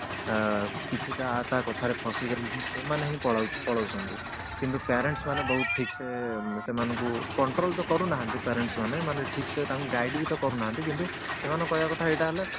ଅ କିଛିଟା ୟା ତା କଥାରେ ଫସି ଯାଆନ୍ତି ଯେମିତି ସେଇମାନେ ହିଁ ପଳାଉ ପଲଉଛନ୍ତି କିନ୍ତୁ parents ମାନେ ବହୁତ ଠିକ ସେ ସେମାନଙ୍କୁ control ତ କରୁନାହାନ୍ତି parents ମାନେ ମାନେ ଠିକ ସେ ତାଙ୍କୁ guide ବି ତ କରୁ ନାହାନି ସେମାନଙ୍କ କହିବା କଥା ଏଇଟା ହେଲେ